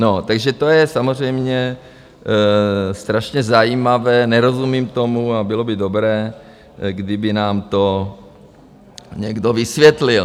No takže to je samozřejmě strašně zajímavé, nerozumím tomu a bylo by dobré, kdyby nám to někdo vysvětlil.